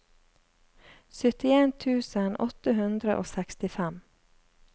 syttien tusen åtte hundre og sekstifem